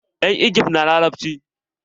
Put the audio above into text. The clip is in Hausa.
Yan igib na larabci.